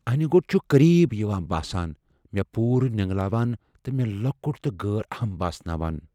انہِ گوٚٹ چھُ قریب یوان باسان ، مے٘ پوٗرٕ نینگلاوان تہٕ مے٘ لۄکُٹ تہٕ غٲر اہم باسناوان ۔